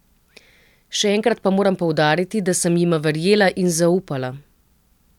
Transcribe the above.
Še enkrat pa moram poudariti, da sem jima verjela in zaupala.